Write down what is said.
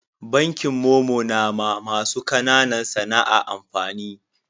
Bankin momo na ma masu kananan sana'a amfani